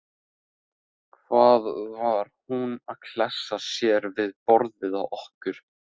Hvað var hún að klessa sér við borðið hjá okkur.